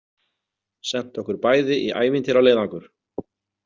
Sent okkur bæði í ævintýraleiðangur.